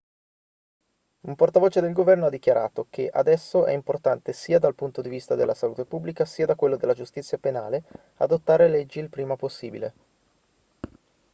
un portavoce del governo ha dichiarato che adesso è importante sia dal punto di vista della salute pubblica sia da quello della giustizia penale adottare le leggi il prima possibile